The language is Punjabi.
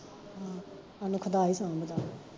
ਹਾਂ, ਸਾਨੂੰ ਖੁਦਾ ਹੀ ਸਾਂਬਦਾ ਏ